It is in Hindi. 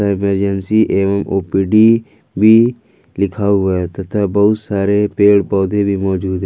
इमरजेंसी एवं ओ_पी_डी भी लिखा हुआ है तथा बहुत सारे पेड़ पौधे भी मौजूद है।